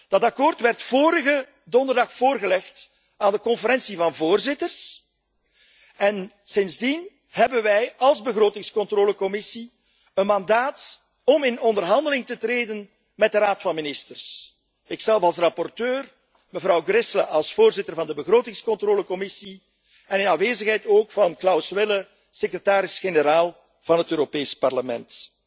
Dat akkoord werd vorige donderdag voorgelegd aan de Conferentie van Voorzitters en sindsdien hebben wij als Commissie begrotingscontrole een mandaat om in onderhandeling te treden met de Raad van Ministers, ikzelf als rapporteur, mevrouw Gräßle als voorzitter van de Commissie begrotingscontrole en in aanwezigheid van Klaus Welle, secretaris generaal van het Europees Parlement.